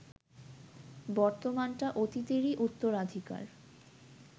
বর্তমানটা অতীতেরই উত্তরাধিকার